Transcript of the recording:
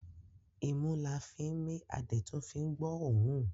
Imú la fín mí a dẹ̀ tún fín gbọ́ ọ̀ọ́rùn.